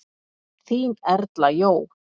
Þín Erla Jó.